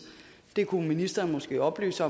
der kunne ministeren måske oplyse